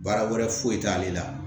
Baara wɛrɛ foyi t'ale la